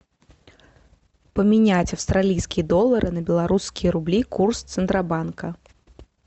поменять австралийские доллары на белорусские рубли курс центробанка